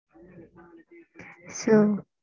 sir.